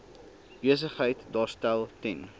besigheid daarstel ten